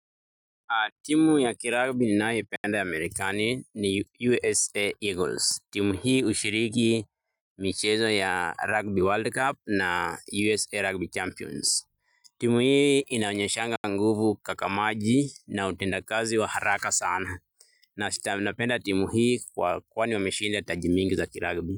Timu ya kiragbi ninayoipenda ya Amerikani ni USA Eagles. Timu hii hushiriki michezo ya Rugby World Cup na USA Rugby Champions. Timu hii inaonyeshanga nguvu kaka maji na utenda kazi wa haraka sana. Na sita napenda timu hii kwa kwani wa meshinda taji mingi za kiragbi.